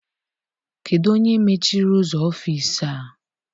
Kedụ onye mechiri ụzọ ọfịịsi a?